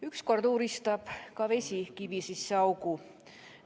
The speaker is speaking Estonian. Ükskord uuristab ka vesi kivi sisse augu.